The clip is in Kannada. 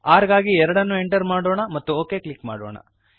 rಗಾಗಿ 2ಅನ್ನು ಎಂಟರ್ ಮಾಡೋಣ ಮತ್ತು ಒಕ್ ಕ್ಲಿಕ್ ಮಾಡೋಣ